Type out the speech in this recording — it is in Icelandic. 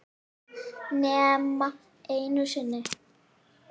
Nema einu sinni.